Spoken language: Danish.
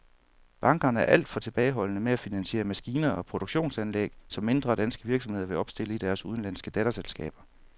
Bankerne er alt for tilbageholdende med at finansiere maskiner og produktionsanlæg, som mindre danske virksomheder vil opstille i deres udenlandske datterselskaber.